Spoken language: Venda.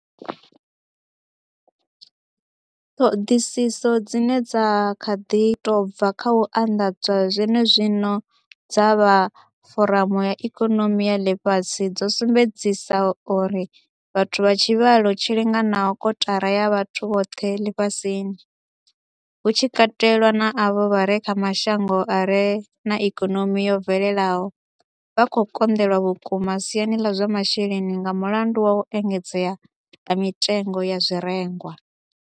Ṱhoḓisiso dzine dza kha ḓi tou bva kha u anḓadzwa zwenezwino dza vha Foramu ya ikonomi ya Ḽifhasi dzo sumbedza uri vhathu vha tshivhalo tshi linganaho kotara ya vhathu vhoṱhe ḽifhasini, hu tshi katelwa na avho vha re kha mashango a re na ikonomi yo bvelelaho, vha khou konḓelwa vhukuma siani ḽa zwa masheleni nga mulandu wa u engedzea ha mitengo ya zwirengwa.